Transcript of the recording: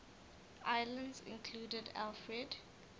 islands included alfred